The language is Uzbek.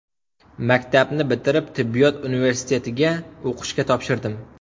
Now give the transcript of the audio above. Maktabni bitirib, tibbiyot universitetiga o‘qishga topshirdim.